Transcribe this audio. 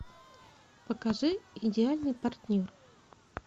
покажи идеальный партнер